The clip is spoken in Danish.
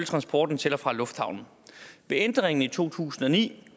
transporten til og fra lufthavnen ved ændringen i to tusind og ni